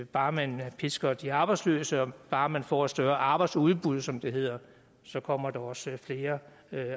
bare man pisker de arbejdsløse og bare man får et større arbejdsudbud som det hedder så kommer der også flere